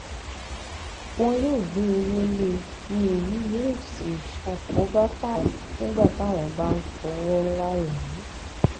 wọn yóò gbé owó lé e ni èyí yóò sì ṣàkóbá fáwọn nígbà táwọn bá ń fọwọ ńlá rà á